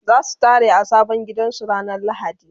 zasu tare a sabon gidan su ranar lahadi